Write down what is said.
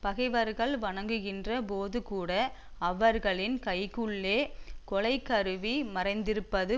பகைவர்கள் வணங்குகின்ற போதுகூட அவர்களின் கைக்குள்ளே கொலைக்கருவி மறைந்திருப்பது